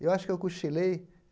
Eu acho que eu cochilei.